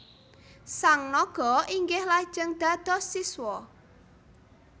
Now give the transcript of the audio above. Sang naga inggih lajeng dados siswa